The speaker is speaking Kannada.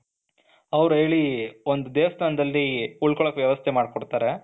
ಅವರು ಹೇಳಿ ಒಂದು ದೇವಸ್ಥಾನದಲ್ಲಿ ಉಳ್ಕೊಳಕ್ಕೆ ವ್ಯವಸ್ಥೆ ಮಾಡಿಕೊಡುತ್ತಾರೆ,